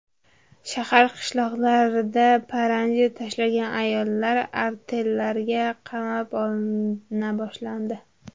Shahar-qishloqlarda paranji tashlagan ayollar artellarga qamrab olina boshlandi.